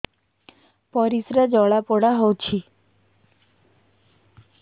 ପରିସ୍ରା ଜଳାପୋଡା ହଉଛି